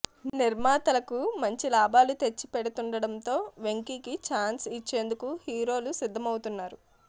నిర్మాతలకు మంచి లాభాలు తెచ్చిపెడుతుండడంతో వెంకీ కి ఛాన్స్ ఇచ్చేనందుకు హీరోలు సిద్ధం అవుతున్నారు